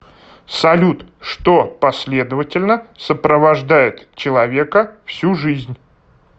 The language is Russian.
салют что последовательно сопровождает человека всю жизнь